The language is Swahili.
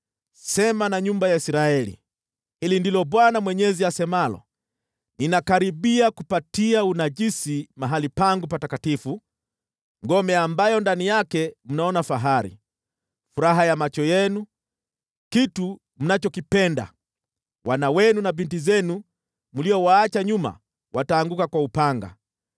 ‘Sema na nyumba ya Israeli. Hili ndilo Bwana Mwenyezi asemalo: Ninakaribia kupatia unajisi mahali pangu patakatifu, ngome ambayo ndani yake mnaona fahari, furaha ya macho yenu, kitu mnachokipenda. Wana wenu na binti zenu mliowaacha nyuma wataanguka kwa upanga.